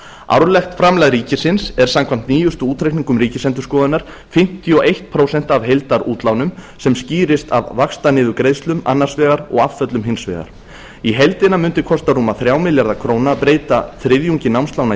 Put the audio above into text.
árlegt framlag ríkisins er samkvæmt nýjustu útreikningum ríkisendurskoðunar fimmtíu og eitt prósent af heildarútlánum sem skýrist af vaxtaniðurgreiðslum annars vegar og afföllum hins vegar í heildina mundi kosta rúma þrjá milljarða króna að breyta þriðjungi námslána í